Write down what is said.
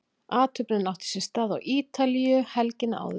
athöfnin átti sér stað á ítalíu helgina áður